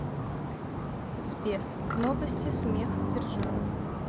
сбер новости смехдержавы